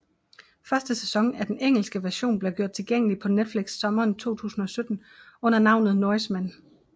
Første sæson af den engelske version blev gjort tilgængelig på Netflix sommeren 2017 under navnet Norsemen